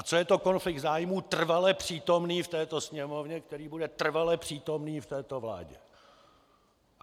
A co je to konflikt zájmů trvale přítomný v této Sněmovně, který bude trvale přítomný v této vládě.